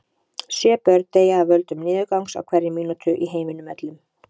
Sjö börn deyja af völdum niðurgangs á hverri mínútu í heiminum öllum.